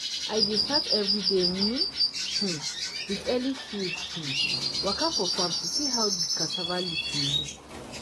i dey start everyday um um with early field um waka for farm to see how di cassava leaf dey look.